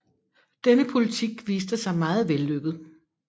Denne politik viste sig meget vellykket